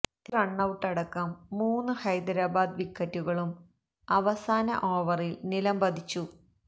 രണ്ട് റണ്ണൌട്ടടക്കം മൂന്ന് ഹൈദരാബാദ് വിക്കറ്റുകളും അവസാന ഓവറിൽ നിലം പതിച്ചു